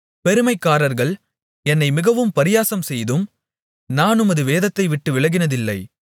பெருமைக்காரர்கள் என்னை மிகவும் பரியாசம்செய்தும் நான் உமது வேதத்தைவிட்டு விலகினதில்லை